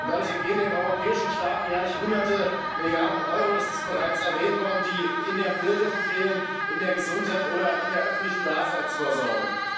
Dadurch entgehen den europäischen Staaten jährlich hunderte Milliarden Euro das ist bereits erwähnt worden die in der Bildung fehlen, in der Gesundheit oder in der öffentlichen Daseinsvorsorge.